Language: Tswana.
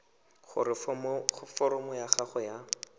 gore foromo ya gago ya